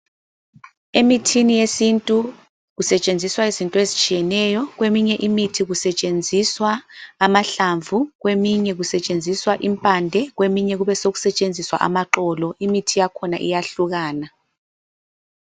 Emithini yesintu kusetshenziswa izinto ezitshiyeneyo kweminye imithi kusetshenziswa amahlamvu, kweminye kusetshenziswa impande kweminye kubesekusetshenziswa amaxolo, imithi yakhona iyahlukana.